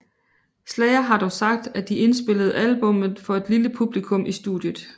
Slayer har dog sagt at de indspillede albummet for et lille publikum i studiet